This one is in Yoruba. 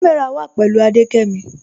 Kàmẹ́rà wà pẹ̀lú Adékẹ́mí